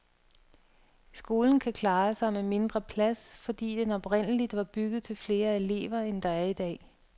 Skolen kan klare sig med mindre plads, fordi den oprindeligt var bygget til flere elever, end der er idag.